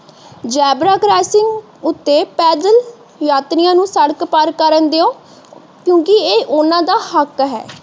Zebra crossing ਉਤੇ ਪੈਦਲ ਯਾਤਰੀਆਂ ਨੂੰ ਸੜਕ ਪਾਰ ਕਰਨ ਦਯੋ ਕਿਉਂਕਿ ਇਹ ਉਹਨਾਂ ਦਾ ਹੱਕ ਹੈ।